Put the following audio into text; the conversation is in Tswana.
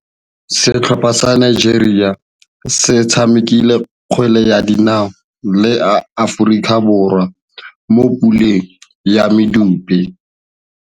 Setlhopha sa Nigeria se tshamekile kgwele ya dinaô le Aforika Borwa mo puleng ya medupe.